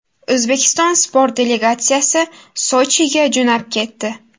O‘zbekiston sport delegatsiyasi Sochiga jo‘nab ketdi.